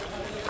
Hələ.